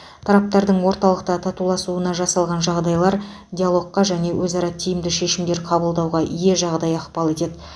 тараптардың орталықта татуласуына жасалған жағдайлар диалогқа және өзара тиімді шешімдер қабылдауға ие жағдай ықпал етеді